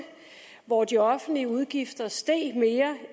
hvor de offentlige udgifter steg mere